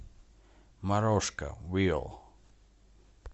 морожка вил